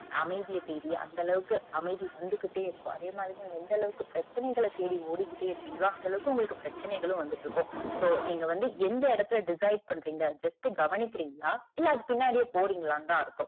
அமைதிய தேடி அந்த அளவுக்கு அமைதி வந்துகிட்டே இருக்கும் அதேமாதிரி எந்த அளவுக்கு பிரச்சனைகள தேடி ஓடிகிட்டே இருக்கிங்களோ, அந்த அளவுக்கு உங்களுக்கு பிரச்சனைகளும வந்துகிட்டு இருக்கும் so நீங்க வந்து எந்த இடத்துல decide பண்றீங்க just கவனிக்கிறீங்கலா இல்ல, அது பின்னாடியே போறீங்கலானுதா அர்த்தம்.